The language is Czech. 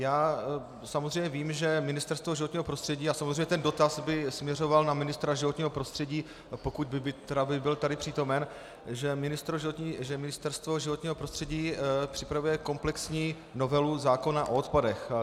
Já samozřejmě vím, že Ministerstvo životního prostředí, a samozřejmě ten dotaz by směřoval na ministra životního prostředí, pokud by byl tady přítomen, že Ministerstvo životního prostředí připravuje komplexní novelu zákona o odpadech.